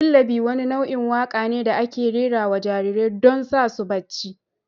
lullaby wani nau'in waƙa ne da ake rera wa jarirai don sa su bacci.